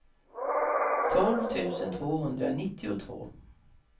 tolv tusen tvåhundranittiotvå